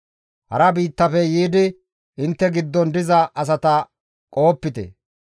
« ‹Hara biittafe yiidi intte giddon diza asata qohopite.